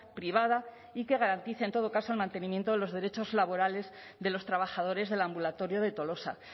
privada y que garantice en todo caso el mantenimiento de los derechos laborales de los trabajadores del ambulatorio de tolosa